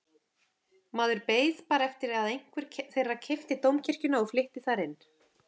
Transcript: Maður beið bara eftir að einhver þeirra keypti Dómkirkjuna og flytti þar inn.